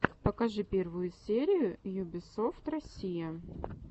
покажи первую серию юбисофт россия